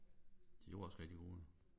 De var jo også rigtig gode jo